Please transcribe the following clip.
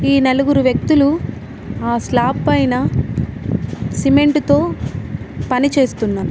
ఈ నలుగురు వ్యక్తులు ఆ స్లాప్ పైన సిమెంటుతో పనిచేస్తున్నారు.